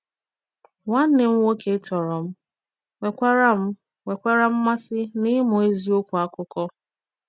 Nwànnè m nwòkè tọrọ m nwèkwàrà m nwèkwàrà mmàsị n'ịmụ èzìòkwù àkụkọ.